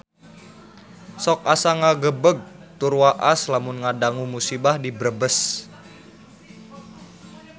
Sok asa ngagebeg tur waas lamun ngadangu musibah di Brebes